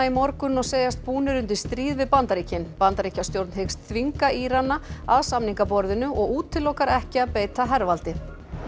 í morgun og segjast búnir undir stríð við Bandaríkin Bandaríkjastjórn hyggst þvinga Írana að samningaborðinu og útilokar ekki að beita hervaldi